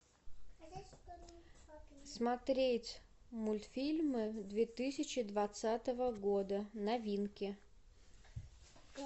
смотреть мультфильмы две тысячи двадцатого года новинки